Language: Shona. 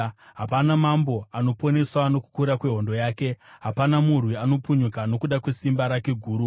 Hapana mambo anoponeswa nokukura kwehondo yake; hapana murwi anopunyuka nokuda kwesimba rake guru.